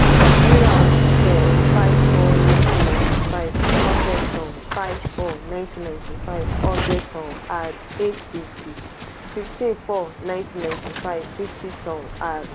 rira oṣù kẹrin: five - four - nineteen ninety five one hundred tonne five - four - nineteen ninety five one hundred tonne @ eight hundred fifty fifteen - four - nineteen ninety five fifty tonne @.